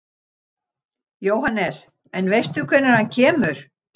Jóhannes: En veistu hvenær hann kemur?